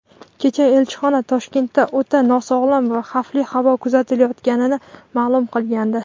Kecha elchixona Toshkentda o‘ta nosog‘lom va xavfli havo kuzatilayotganini ma’lum qilgandi.